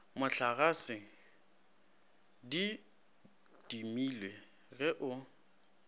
mohlagase di timilwe ge o